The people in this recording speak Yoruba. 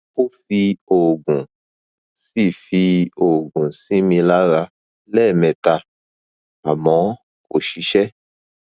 ó fi oògùn sí fi oògùn sí mi lára lẹẹmẹta àmọ kò ṣiṣẹ